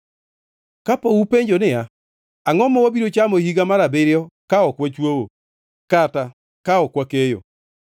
Kapo upenjo niya, “Angʼo ma wabiro chamo e higa mar abiriyo ka ok wachwoyo, kata ka ok wakeyo?”